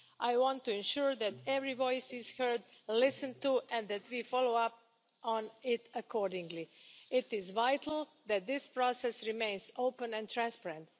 I want to ensure that every voice is heard and listened to, and that we follow up on it accordingly. It is vital that this process remains open and transparent.